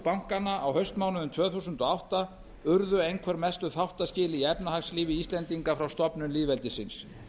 bankanna á haustmánuðum tvö þúsund og átta urðu einhver mestu þáttaskil í efnahagslífi íslendinga frá stofnun lýðveldisins